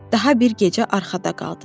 Daha bir gecə arxada qaldı.